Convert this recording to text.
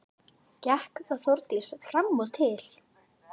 Gekk þá Þórdís fram og til